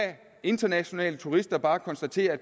internationale turister bare konstatere at